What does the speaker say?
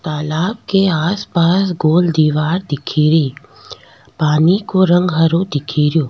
तालाब के आसपास गोल दिवार दिखेरी पानी को रंग हरो दिख रो।